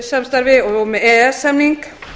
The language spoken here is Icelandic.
samstarfi og með e e s samning